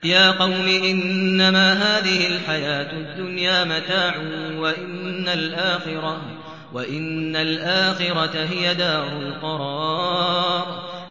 يَا قَوْمِ إِنَّمَا هَٰذِهِ الْحَيَاةُ الدُّنْيَا مَتَاعٌ وَإِنَّ الْآخِرَةَ هِيَ دَارُ الْقَرَارِ